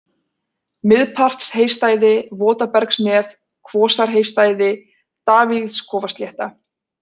Miðpartsheystæði, Votabergsnef, Kvosarheystæði, Davíðskofaslétta